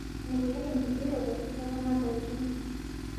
Melelek ngigerore eekuna tokitin